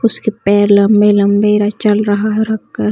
उसके पैर लम्बे - लम्बे और चल रहा है रखकर --